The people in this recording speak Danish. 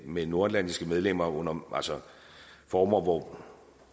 med nordatlantiske medlemmer under former